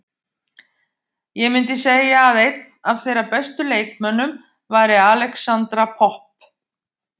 Ég myndi segja að einn af þeirra bestu leikmönnum væri Alexandra Popp.